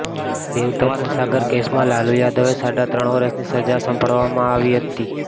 દેવઘર કોષાગાર કેસમાં લાલુ યાદવે સાડા ત્રણ વર્ષની સજા સંભળાવવામાં આવી હતી